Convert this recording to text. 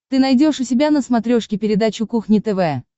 ты найдешь у себя на смотрешке передачу кухня тв